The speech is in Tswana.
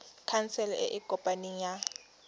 khansele e e kopaneng ya